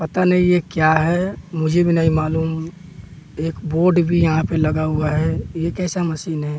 पता नही ये क्या है मुझे भी नहीं मालूम एक बोर्ड भी यहां पे लगा हुआ है ये कैसा मशीन है?